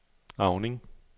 Auning